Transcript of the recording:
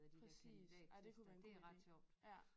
Præcis ej det kunne være en god idé ja